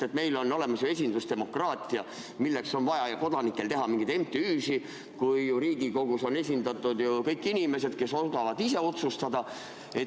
Sest meil on olemas ju esindusdemokraatia ja milleks on vaja kodanikel teha mingeid MTÜ-sid, kui Riigikogus on esindatud kõik inimesed, kes oskavad ise otsustada?